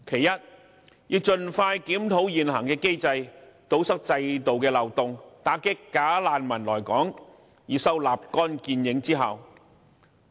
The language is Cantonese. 第一，盡快檢討現行機制，堵塞制度漏洞，打擊"假難民"來港，以收立竿見影之效。